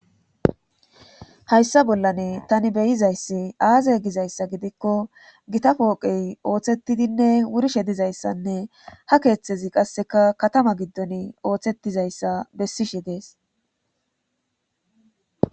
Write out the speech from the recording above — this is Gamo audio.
hayssa bollane tani beyizayssi aaza gizayssa gidikko gita pooqey ooththetidinne wurishe dizayssanne ha keeththezi qasseka katama giddon ooththetizayssa beesishe dees.